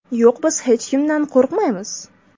Yo‘q, biz hech kimdan qo‘rqmaymiz.